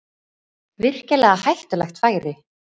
Virkilega hættulegt færi